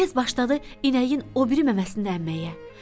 Tez başladı inəyin o biri məməsini əmməyə.